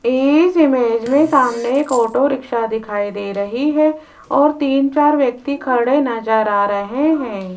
इस इमेज में सामने एक ऑटो रिक्शा दिखाई दे रही है और तीन चार व्यक्ति खड़े नजर आ रहे हैं।